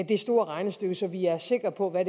det store regnestykke så vi er sikre på hvad